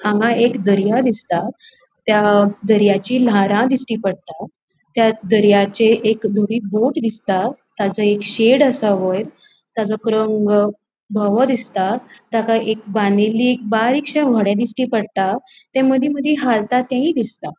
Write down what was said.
हांगा एक दर्यो दिसता त्या दर्याची लाटा दिश्टी पट्टा त्या दर्याचेर एक धवी बोट दिसता त्यसो एक शेड असा वयर तेचो रंग धोवों दिसता ताका एक बांदिल्ली एक बारीकशी दिश्टी पट्टा ते मदी मदी हालता ते दिसता.